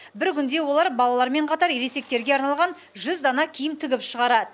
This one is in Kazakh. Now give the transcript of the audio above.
бір күнде олар балалармен қатар ересектерге арналған жүз дана киім тігіп шығарады